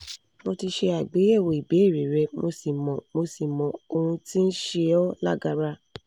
mo ti ṣe àgbéyẹ̀wò ìbéèrè rẹ mo sì mọ mo sì mọ ohun tí ń ṣe ọ́ lágara